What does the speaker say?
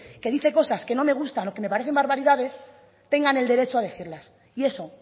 que dice cosas que no me gustan o que me parecen barbaridades tengan el derecho a decirlas y eso